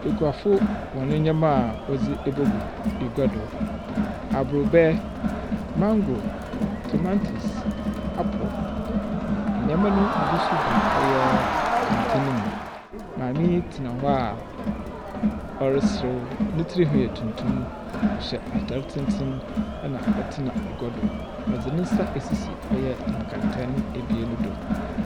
Ekuafo wɔn nneɛma a wɔdze abegu gua do. Aborɔbɛ, mango, tomantos, apple na nneɛma no bi nso gu ɔyɛ kɛntɛn mu. Maame yi tsena hɔ a ɔreserew. Ne tirihwi yɛ tuntum. Ɔhyɛ atar tenten na ɔtena agua do. Ɔde ne nsa asisi ɔyɛ nkɛntɛn abien no do.